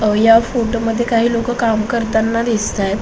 या फोटोमध्ये काही लोक काम करताना दिसताहे.